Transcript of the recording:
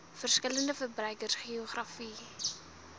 verskillende verbruikers geografiese